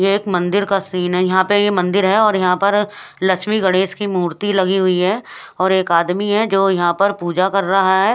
ये एक मंदिर का सीन है और यहाँ पर ये मंदिर है और यह पर लक्ष्मी गणेश की मूर्ति लगी हुई है और एक आदमी है जो यह पर पूजा कर रहा है।